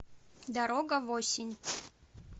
дорога в осень